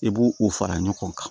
I b'o o fara ɲɔgɔn kan